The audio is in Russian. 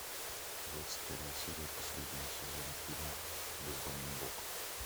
двадцать первая серия последнего сезона фильма бездомный бог